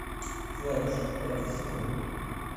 флэш пятый сезон